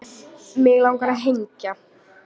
Mig langar að hengja